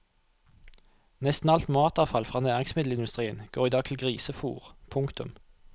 Nesten alt matavfall fra næringsmiddelindustrien går i dag til grisefôr. punktum